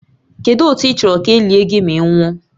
Kedu otu ị chọrọ ka e lie gị ma ị nwụọ?